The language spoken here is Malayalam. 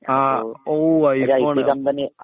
ah oh iPhone